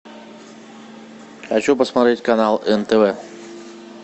хочу посмотреть канал нтв